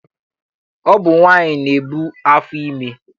Ọ bụ nwaanyị na-ebu afọ ime.